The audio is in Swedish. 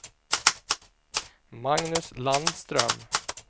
Magnus Landström